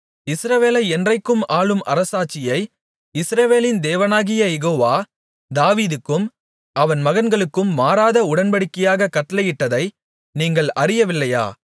இஸ்ரவேலை என்றைக்கும் ஆளும் அரசாட்சியை இஸ்ரவேலின் தேவனாகிய யெகோவா தாவீதுக்கும் அவன் மகன்களுக்கும் மாறாத உடன்படிக்கையாகக் கட்டளையிட்டதை நீங்கள் அறியவில்லையா